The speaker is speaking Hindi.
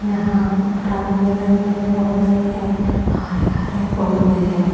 यहां रंग बिरंगे पौधे हैं हरे हरे पौधे हैं।